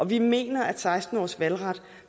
vi mener at seksten årsvalgret